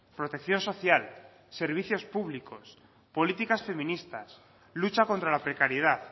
protección social servicios públicos políticas feministas lucha contra la precariedad